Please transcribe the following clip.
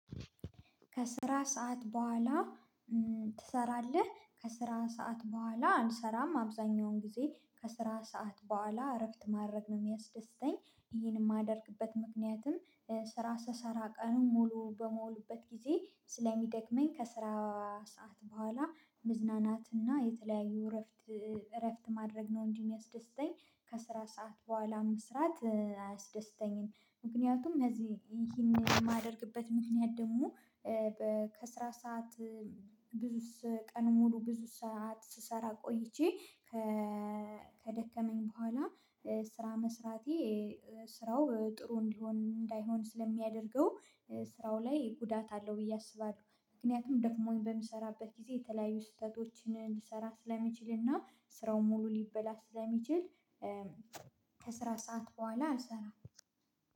ከስራ ሰዓት በኋላ ትሰራለህ? ከስራ ሰዓት በኋላ አንሰራም አብዛኛውን ጊዜ ከስራ ሰዓት በኋላ እረፍት ማድረግ ነው የሚያስደስተኝ። ይሄን የማደርግበት ምክንያትም ስራ ስሰራ ቀኑን ሙሉ በሙሉበት ጊዜ ስለሚደክመኝ ከስራ ሰዓት በኋላ መዝናናትና የተለያዩ እረፍት እረፍት ማድረግ ነው እንዲህ የሚያስደስተኝ። ከስራ ሰዓት በኋላም መስራት አያስደስተኝም። ምክንያቱም እዚህ ይሄን የማደርግበት ምክንያት ደግሞ። ከስራ ሰዓት ብዙ ስ ቀን ሙሉ ብዙ ሰዓት ስሰራ ቆይቼ። ከደከመኝ በኋላ ስራ መስራቴ ስራው ጥሩ እንዲሆን እንዳይሆን ስለሚያደርገው ስራው ላይ ጉዳት አለው ብዬ አስባለሁ። ምክንያቱም ደግሞን በምሰራበት ጊዜ የተለያዩ ስህተቶችን ልሰራ ስለሚችልና ስራው ሙሉ ሊበላስ ስለሚችል። ከስራ ሰዓት በኋላ አልሰራም